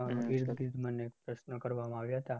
મને પ્રશ્નો કરવામાં આવ્યા હતા.